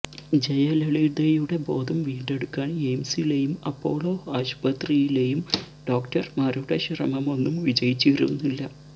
ജയലളിതയുടെ ബോധം വീണ്ടെടുക്കാന് എയിംസിലേയും അപ്പോളോ ആശുപത്രിയിലേയും ഡോക്ടര്മാരുടെ ശ്രമമൊന്നും വിജയിച്ചിരുന്നില്ല